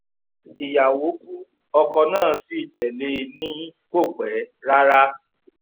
ìyàwó ku ọkọ̀ náà sí tẹ̀lé e ni kò pẹ́ rárá